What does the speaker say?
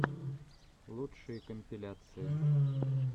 лучшие компиляции